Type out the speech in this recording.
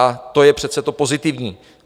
A to je přece to pozitivní.